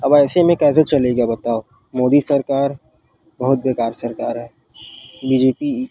अब ऐसे मे कैसे चलेगा बताओ मोदी सरकार बहुत बेकार सरकार हे बी. जे. पी --